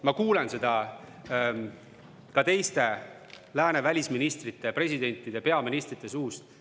Ma kuulen seda ka teiste lääne välisministrite, presidentide ja peaministrite suust.